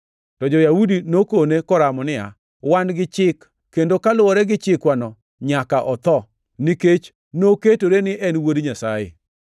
To jo-Yahudi nokone koramo niya, “Wan gi chik, kendo kaluwore gi chikwano, nyaka otho, nikech noketore ni en Wuod Nyasaye.”